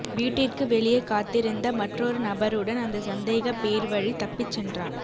வீட்டிற்கு வெளியே காத்திருந்த மற்றொரு நபருடன் அந்த சந்தேகப் பேர்வழி தப்பிச்சென்றான்